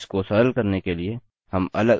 इसको सरल करने के लिए हम अलगअलग पेज रखेंगे